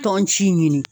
Tɔn ci ɲini